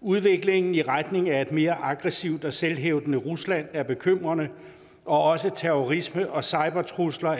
udviklingen i retning af et mere aggressivt og selvhævdende rusland er bekymrende og også terrorisme og cybertrusler og